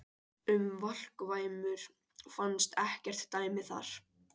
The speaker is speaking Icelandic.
Um valkvæmur fannst ekkert dæmi þar.